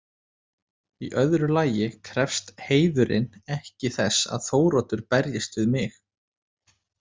Í öðru lagi krefst heiðurinn ekki þess að Þóroddur berjist við mig.